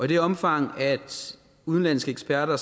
det omfang udenlandske eksperter